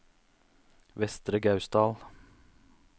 Vestre Gausdal